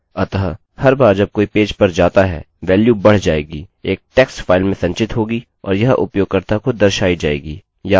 अतः हर बार जब कोई पेज पर जाता हैवेल्यू बढ़ जाएगी एक टेक्स्ट फाइल में संचित होगी और यह उपयोगकर्ता को दर्शायी जाएगी